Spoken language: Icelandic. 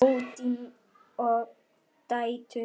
Oddný og dætur.